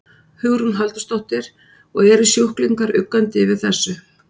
Hugrún Halldórsdóttir: Og eru sjúklingar uggandi yfir þessu?